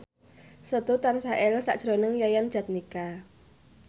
Setu tansah eling sakjroning Yayan Jatnika